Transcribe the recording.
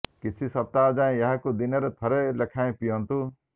କିଛି ସପ୍ତାହ ଯାଏ ଏହାକୁ ଦିନରେ ଥରେ ଲେଖାଁଏ ପିଅନ୍ତୁ